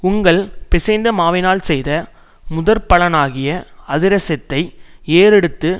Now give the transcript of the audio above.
உங்கள் பிசைந்த மாவினால் செய்த முதற்பலனாகிய அதிரசத்தை ஏறெடுத்து